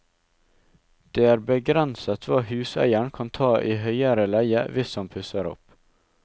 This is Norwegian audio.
Det er begrenset hva huseieren kan ta i høyere leie hvis han pusser opp.